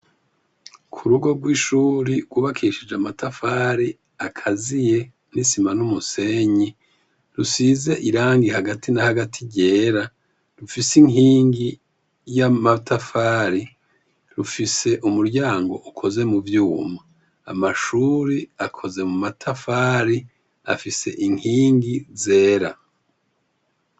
Ku rugo rw'ishuri gubakishije amatafari akaziye nisima n'umusenyi rusize irangi hagati na hagati ryera rufise inkingi y'a matafari rufise umuryango ukoze mu vyuma amashuri akoze mu matafari afise inkingi zera.